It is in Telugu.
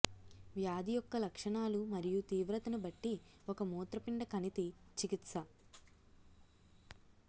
వ్యాధి యొక్క లక్షణాలు మరియు తీవ్రతను బట్టి ఒక మూత్రపిండ కణితి చికిత్స